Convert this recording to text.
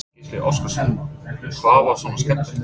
Gísli Óskarsson: Hvað var svona skemmtilegt?